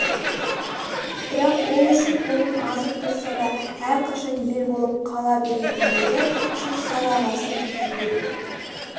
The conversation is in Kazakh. бірақ ол үшін оның азып-тозса да әрқашан ел болып қала беретіндігі үшін садағасы кету керек